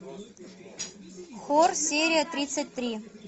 хор серия тридцать три